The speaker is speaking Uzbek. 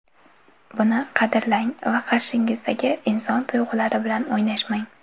Buni qadrlang va qarshingizdagi inson tuyg‘ulari bilan o‘ynashmang.